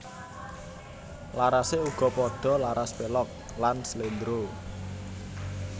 Larasé uga padha laras pélog lan sléndro